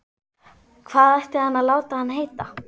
Hvað ætti hann að láta hann heita?